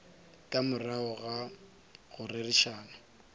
ka morago ga go rerišana